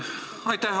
Aitäh!